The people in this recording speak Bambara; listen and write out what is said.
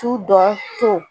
tu dɔ to